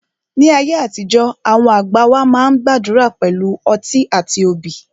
Ní àtijọ́, àwọn àgbà wá máa ń gbàdúrà pẹ̀lú ọtí àti obì